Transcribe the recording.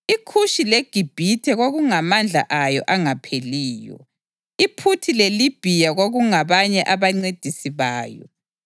IKhushi leGibhithe kwakungamandla ayo angapheliyo. IPhuthi leLibhiya kwakungabanye abancedisi bayo.